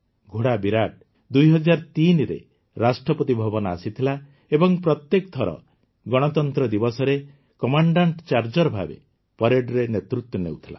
ଘୋଡ଼ା ବିରାଟ ୨୦୦୩ରେ ରାଷ୍ଟ୍ରପତି ଭବନ ଆସିଥିଲା ଏବଂ ପ୍ରତ୍ୟେକ ଥର ଗଣତନ୍ତ୍ର ଦିବସରେ କମାଣ୍ଡାଂଟ୍ ଚାର୍ଜର୍ ଭାବେ ପରେଡର ନେତୃତ୍ୱ ନେଉଥିଲା